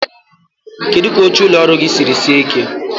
Kedu ka oche ụlọ ọrụ gị siri sie ike?